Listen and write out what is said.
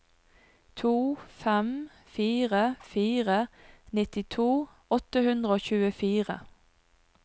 to fem fire fire nittito åtte hundre og tjuefire